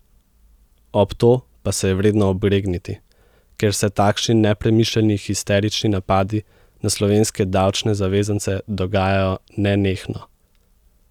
Ob to pa se je vredno obregniti, ker se takšni nepremišljeni histerični napadi na slovenske davčne zavezance dogajajo nenehno.